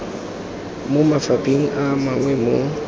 mo mafapheng a mangwe mo